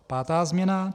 Pátá změna.